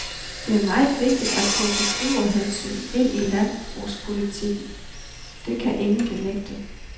Det er meget vigtigt at få forbrugerhensyn ind i landbrugspolitikken, det kan ingen benægte.